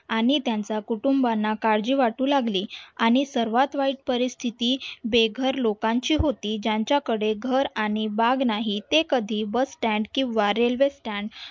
आणि त्यांच्या कुटुंबीयांना काळजी वाटू लागली आणि सर्वात वाईट परिस्थिती बेघर लोकांची होती ज्यांच्याकडे घर आणि बाग नाही ते कधी bus stand किंवा रेल्वे stand